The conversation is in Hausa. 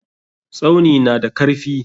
Tsauni na da karfi.